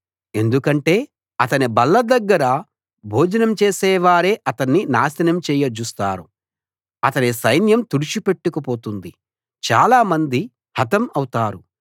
ఎందుకంటే అతని బల్ల దగ్గర భోజనం చేసే వారే అతన్ని నాశనం చేయ జూస్తారు అతని సైన్యం తుడిచిపెట్టుకు పోతుంది చాలా మంది హతం అవుతారు